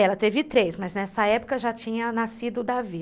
Ela teve três, mas nessa época já tinha nascido o Davi.